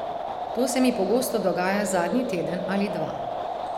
To se mi pogosto dogaja zadnji teden ali dva.